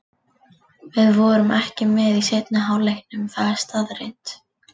Við vorum ekki með í seinni hálfleiknum, það er staðreynd.